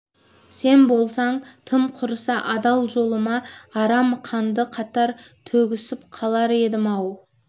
сен болсаң тым құрыса адал жолыма арам қанды қатар төгісіп қалар едім-ау